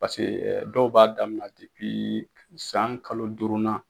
Paseke dɔw b'a daminɛ depi san kalo duurunan.